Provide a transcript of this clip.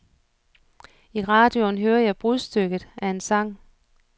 I radioen hører jeg brudstykket af en sang.